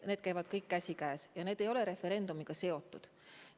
Need käivad kõik käsikäes ja need ei ole referendumiga seotud.